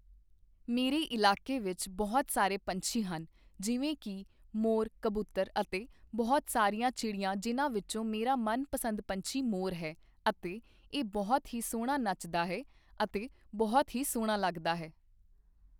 ਮੇਰੇ ਇਲਾਕੇ ਵਿੱਚ ਬਹੁਤ ਸਾਰੇ ਪੰਛੀ ਹਨ ਜਿਵੇਂ ਕਿ ਮੋਰ ਕਬੂਤਰ ਅਤੇ ਬਹੁਤ ਸਾਰੀਆਂ ਚਿੜੀਆਂ ਜਿਨ੍ਹਾਂ ਵਿੱਚੋਂ ਮੇਰਾ ਮਨਪਸੰਦ ਪੰਛੀ ਮੋਰ ਹੈ ਅਤੇ ਇਹ ਬਹੁਤ ਹੀ ਸੋਹਣਾ ਨੱਚਦਾ ਹੈ ਅਤੇ ਬਹੁਤ ਹੀ ਸੋਹਣਾ ਲੱਗਦਾ ਹੈ।